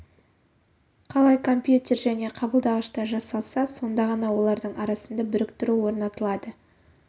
қалай компьютер және қабылдағышта жасалса сонда ғана олардың арасында біріктіру орнатылады